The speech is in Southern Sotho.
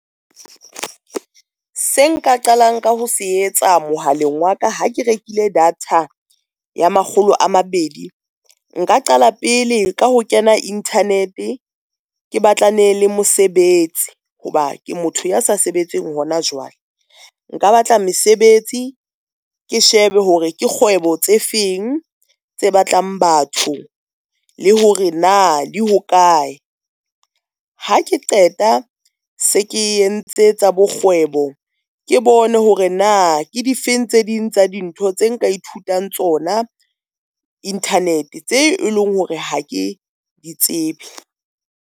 Se nka qalang ka ho se etsa mohaleng wa ka. Ha ke rekile data ya makgolo a mabedi, nka qala pele ka ho kena internet ke batlane le mosebetsi, ho ba ke motho ya sa sebetseng hona jwale. Nka batla mesebetsi ke shebe hore ke kgwebo tse feng tse batlang batho, le hore na di hokae. Ha ke qeta se ke entse tsa bo kgwebo, ke bone hore na ke difeng tse ding tsa dintho tse nka ithutang tsona internet tse eleng hore ha ke di tsebe.